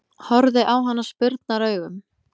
Horfði á hana spurnaraugum.